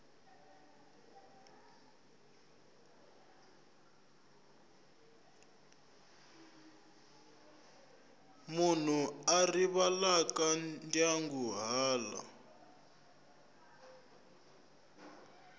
munhu a rivalaka ndyangu hala